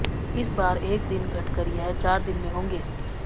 इस बार एक दिन घटकर यह चार दिन में होंगे